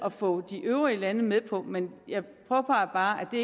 at få de øvrige lande med på men jeg påpeger bare at det